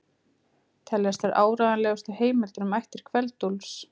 Teljast þær áreiðanlegustu heimildir um ættir Kveld-Úlfs.